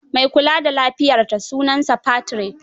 Mai kula da lafiyarta sunansa Patrick.